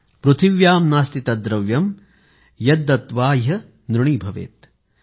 पृथिव्यां नास्ति तद्द्रव्यं यद्दत्त्वा ह्यनृणी भवेतकृ